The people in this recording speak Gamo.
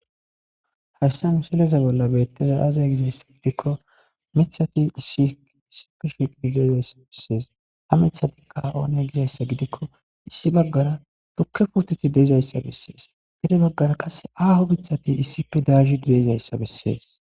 hesta miseleza bolla beetteza aazay gizayssa gidikko mithati issiissi pish gidi dezayssa bessees ha mithati kaoone gizayssa gidikko issi baggara tukke puteti dezayssa bessees gide baggara qass aaho mithati issife daahi diyezayssa bessees